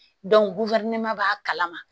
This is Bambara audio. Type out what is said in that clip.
b'a kalama